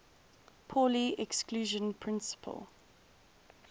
pauli exclusion principle